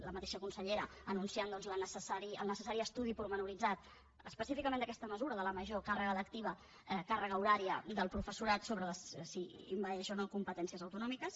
la mateixa consellera anunciant el necessari estudi detallat específicament d’aquesta mesura de la major càrrega lectiva càrrega horària del professorat si envaeix o no competències autonòmiques